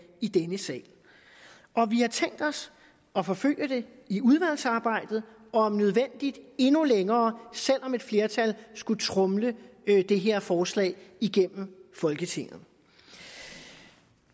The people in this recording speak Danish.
i denne sal vi har tænkt os at forfølge det i udvalgsarbejdet og om nødvendigt endnu længere selv om et flertal skulle tromle det her forslag igennem folketinget